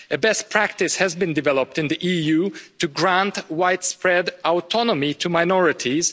A best practice has been developed in the EU to grant widespread autonomy to minorities.